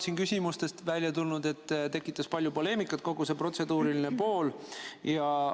Siin on küsimustest välja tulnud, et palju poleemikat tekitas kogu see protseduuriline pool.